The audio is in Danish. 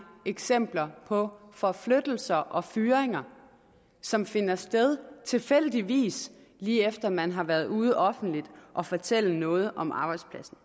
eksempler på forflyttelser og fyringer som finder sted tilfældigvis lige efter man har været ude offentligt at fortælle noget om arbejdspladsen